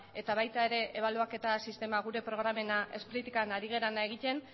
eta baita ere ebaluaketa sistema gure programena spri ketan ari garena egiten